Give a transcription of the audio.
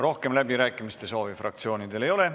Rohkem läbirääkimiste soovi fraktsioonidel ei ole.